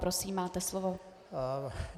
Prosím, máte slovo.